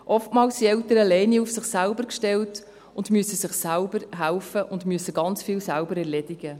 Oftmals sind Eltern auf sich alleine gestellt, müssen sich selber helfen und müssen ganz viel selber erledigen.